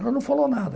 Ela não falou nada.